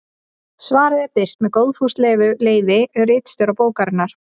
Svarið er birt með góðfúslegu leyfi ritstjóra bókarinnar.